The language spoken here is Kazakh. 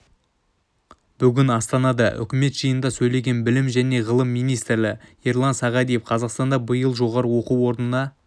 бүгін астанада үкімет жиынында сөйлеген білім және ғылым министрі ерлан сағадиев қазақстанда биыл жоғары оқу орнына